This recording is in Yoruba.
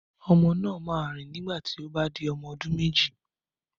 Ọmọ náà máa rìn nígbà tí ó bá di ọmọ ọdún méjì